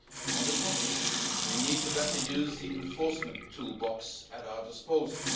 On the contrary, we need to make better use of the enforcement toolbox at our disposal.